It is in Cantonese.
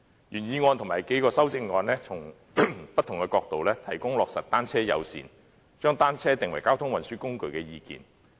原議案及數項修正案從不同的角度，提供制訂單車友善政策，將單車定為交通運輸工具的意見。